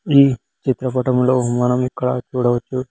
ఈ చిత్రపటంలో మనం ఇక్కడ చూడవచ్చు.